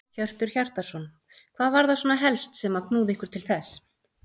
Hjörtur Hjartarson: Hvað var það svona helst sem að knúði ykkur til þess?